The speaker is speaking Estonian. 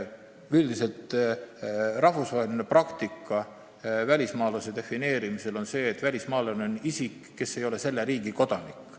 Üldiselt on rahvusvaheline praktika välismaalase defineerimisel selline, et välismaalane on isik, kes ei ole selle riigi kodanik.